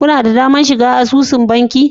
Kuna da damar shiga asusun banki?